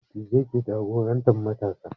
Dattijai ke jagorantar matasa